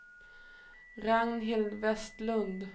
Ragnhild Westlund